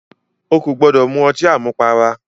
O kò gbọ́dọ̀ mu ọtí àmupara!